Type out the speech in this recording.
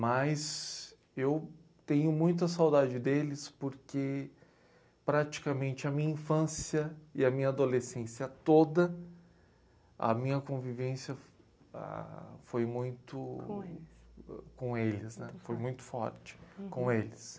Mas eu tenho muita saudade deles porque praticamente a minha infância e a minha adolescência toda, a minha convivência ah foi muito... com eles... com eles, né? Foi muito forte com eles.